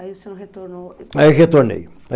Aí o senhor retornou... Aí retornei.